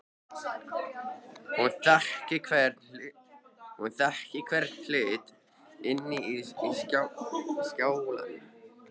Hún þekkti hvern hlut inni í skálanum.